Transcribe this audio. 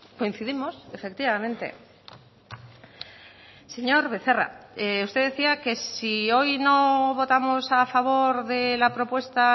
coincidimos efectivamente señor becerra usted decía que si hoy no votamos a favor de la propuesta